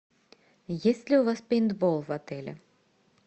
есть ли у вас пейнтбол в отеле